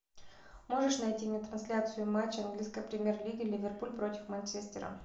можешь найти мне трансляцию матча английской премьер лиги ливерпуль против манчестера